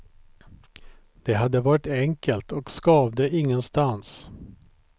Det hade varit enkelt och skavde ingenstans.